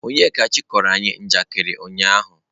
Onyekachi kọrọ anyi njakịrị ụnyahụ.